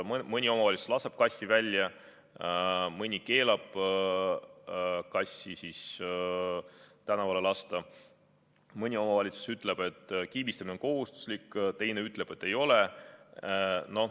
Mõni omavalitsus lubab kassi välja, mõni keelab kassi tänavale lasta, mõni omavalitsus ütleb, et kiibistamine on kohustuslik, teine ütleb, et ei ole.